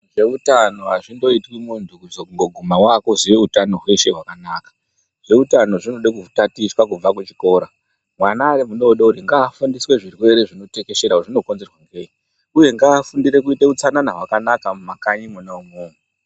Zveutano azvingoitwi muntu kungozoguma wakuziya hutano hweshe hwakanaka zveutano zvinoda kutatichwa kubva kuchikora mwana ari mudodori ngafundiswe zvirwere zvinotekeshera kuti zvino konzerwa ngeii uyee ngaafundire kuita utsanana hwakanaka mumakanyi mwona umomo